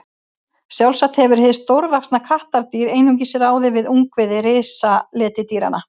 Sjálfsagt hefur hið stórvaxna kattardýr einungis ráðið við ungviði risaletidýranna.